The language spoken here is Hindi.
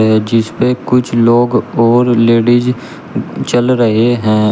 है जिस पे कुछ लोग और लेडीज चल रहे हैं।